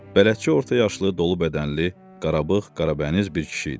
Bələdçi orta yaşlı, dolu bədənli, qarabağıq, qarabəniz bir kişi idi.